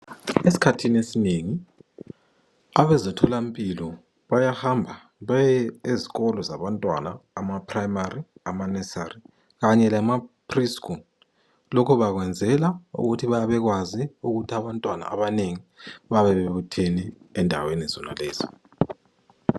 Eskhathini esinengi abezemtholampilo bayahamba baye ezikolo zabantwana, amaprayimari, amaneari kanye lama pri skulu. Lokho bakwenzela ukuthi bayabe bekwazi ukuthi abantwana abanengi bayabe bebuthene endaweni zonalezo.